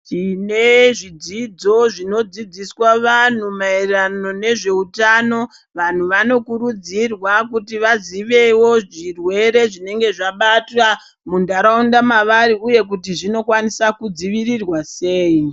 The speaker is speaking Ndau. Tine zvidzidzo zvinodzidziswa vantu maererano nezveutano, vantu vanokurudzirwa kuti vazivewo zvirwere zvinenge zvabata muntaraunda mavari uye kuti zvinokwanisa kudzivirirwa sei.